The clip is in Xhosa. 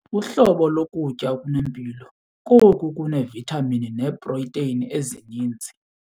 Uhlobo lokutya okunempilo ngoluneevithamini neeprotheyini ezininzi.